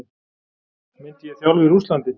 Myndi ég þjálfa í Rússlandi?